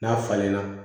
N'a falenna